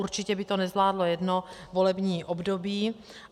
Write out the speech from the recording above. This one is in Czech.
Určitě by to nezvládlo jedno volební období.